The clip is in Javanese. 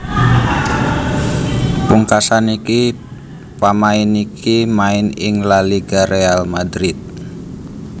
Pungkasan iki pamain iki main ing La Liga Real Madrid